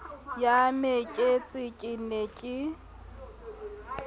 ya mekete ke ne ke